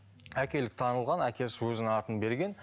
әкелік танылған әкесі өзінің атын берген